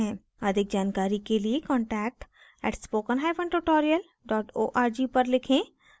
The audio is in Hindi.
अधिक जानकारी के लिए contact @spokentutorial org पर लिखें